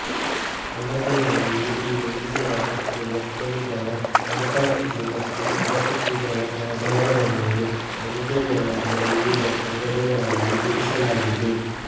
ಅಣಬೆಯಲ್ಲಿ ಈ ಉಂಗುರ ಮತ್ತು ಬಟ್ಟಲುಗಳ ಅನುಪಸ್ಥಿತಿ ಮತ್ತು ಉಪಸ್ಥಿತಿಗಳ ಆಧಾರದ ಮೇಲೆ ಅಣಬೆಗಳನ್ನು ವಿವಿಧ ಪಂಗಡಗಳಲ್ಲಿ ಇರಿಸಲಾಗಿದೆ